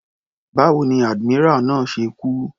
Báwo ni admiral náà ṣe kú.